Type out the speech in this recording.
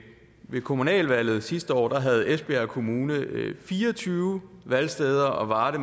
kommunalvalget sidste år havde esbjerg kommune fire og tyve valgsteder og varde